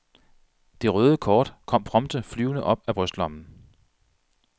Det røde kort kom prompte flyvende op af brystlommen.